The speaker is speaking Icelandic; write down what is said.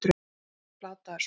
Hann hefur verið plataður svona!